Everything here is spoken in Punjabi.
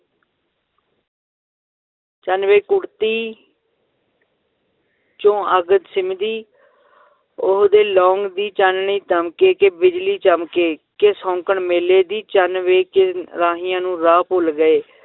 ਚੰਨ ਵੇ ਕੁੜਤੀ 'ਚੋਂ ਅੱਗ ਸਿੰਮਦੀ ਉਹਦੇ ਦੀ ਚਾਨਣੀ ਦਮਕੇ ਕਿ ਬਿਜਲੀ ਚਮਕੇ ਕਿ ਸ਼ੌਂਕਣ ਮੇਲੇ ਦੀ, ਚੰਨ ਵੇ ਕਿ ਰਾਹੀਆਂ ਨੂੰ ਰਾਹ ਭੁੱਲ ਗਏ